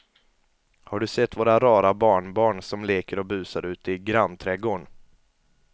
Har du sett våra rara barnbarn som leker och busar ute i grannträdgården!